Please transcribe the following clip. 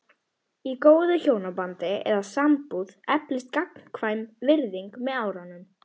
Í góðu hjónabandi eða sambúð eflist gagnkvæm virðing með árunum.